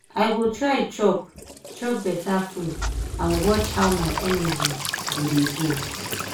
i go try chop chop beta food and watch how my energy go dey go.